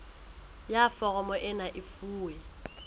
ya foromo ena e fuwe